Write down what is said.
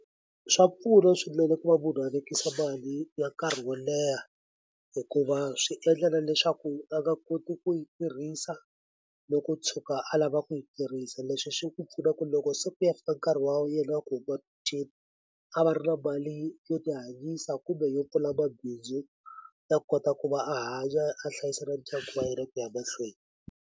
Swa pfuna swinene ku va munhu a lavekisa mali ya nkarhi wo leha hikuva swi endla na leswaku a nga koti ku yi tirhisa loko o tshuka a lava ku yi tirhisa leswi swi ku pfuna ku loko se ku ya fika nkarhi wa yena ku huma a va ri na mali yo tihanyisa kumbe yo pfula mabindzu ya kota ku va a hanya a hlayisa na ndyangu wa yena ku ya mahlweni.